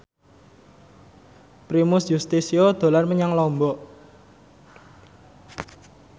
Primus Yustisio dolan menyang Lombok